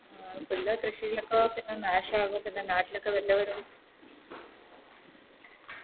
ഉള്ള കൃഷിയിലോക്കെ നാശവും പിന്നെ നാട്ടിലൊക്കെ വല്ലവരും